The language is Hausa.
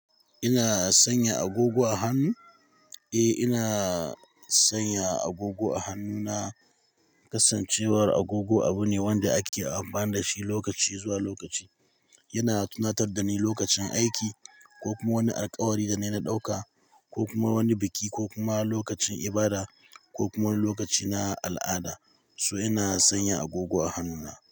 Ina sanya agogo a hannu? Eh, ina sanya agogo a hannu na. Kasancewar agogo abu ne wanda ake amfani da shi lokaci zuwa lokaci. Yana tunatar da ni lokacin aiki ko kuma wani alkawari da na ɗauka, ko kuma wani biki ko kuma lokacin ibada ko kuma lokaci na al'ada. So ina sanya agogo a hannuna.